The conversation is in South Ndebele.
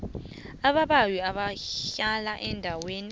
ababawi abahlala eendaweni